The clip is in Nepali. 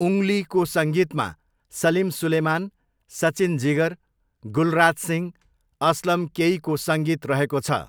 उङ्गलीको सङ्गीतमा सलिम सुलेमान, सचिन जिगर, गुलराज सिंह, असलम केईको सङ्गीत रहेको छ।